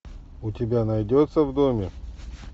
у тебя найдется в доме